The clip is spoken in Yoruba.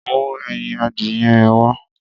Mú ẹyin adìyẹ yẹn wá.